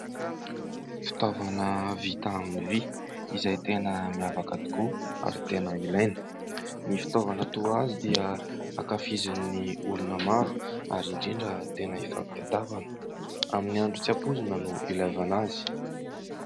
Fitaovana vita amin'ny vy, izay tena miavaka tokoa ary tena ilaina; ny fitaovana toa azy dia hankafizin'ny olona maro ary indrindra tena hifampitadiavana , amin'ny andro tsy hampoizina no hilaivana azy.